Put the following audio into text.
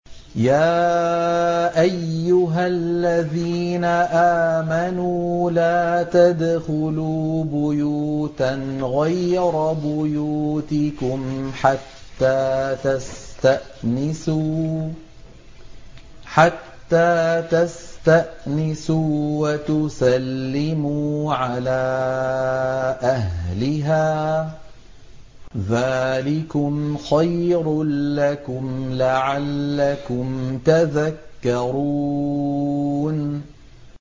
يَا أَيُّهَا الَّذِينَ آمَنُوا لَا تَدْخُلُوا بُيُوتًا غَيْرَ بُيُوتِكُمْ حَتَّىٰ تَسْتَأْنِسُوا وَتُسَلِّمُوا عَلَىٰ أَهْلِهَا ۚ ذَٰلِكُمْ خَيْرٌ لَّكُمْ لَعَلَّكُمْ تَذَكَّرُونَ